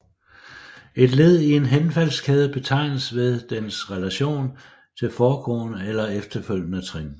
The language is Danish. Et led i en henfaldskæde betegnes ved dens relation til foregående eller efterfølgende trin